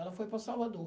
Ela foi para Salvador.